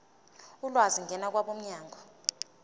ulwazi ngena kwabomnyango